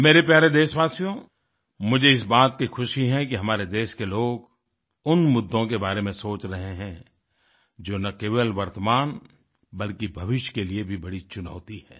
मेरे प्यारे देशवासियो मुझे इस बात की ख़ुशी है कि हमारे देश के लोग उन मुद्दों के बारे में सोच रहे हैं जो न केवल वर्तमान बल्कि भविष्य के लिए भी बड़ी चुनौती है